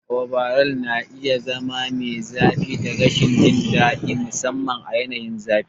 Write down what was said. Overalls na iya zama mai zafi da rashin jin daɗi, musamman a yanayin zafi.